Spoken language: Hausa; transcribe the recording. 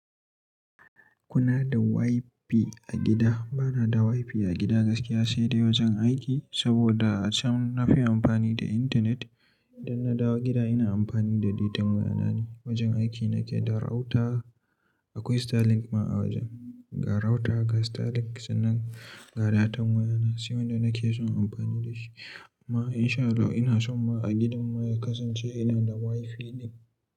Kuna da WiFi a gida? Bana da WiFi a gida gaskiya, sai dai wajen aiki saboda can nafi amfani da internet. Idan na dawo gida ina amfani da datan waya ne. Wajen aiki nake da router, akwai Starlink ma a wajen. Ga router, ga Starlink sannan ga datan waya. Sai wanda nake son amfani da shi. Ma insha Allah inason ma a gidan mu ya kasance ina da WiFi ɗin.